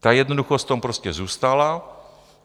Ta jednoduchost v tom prostě zůstala.